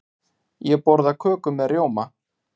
Ég borða köku með rjóma.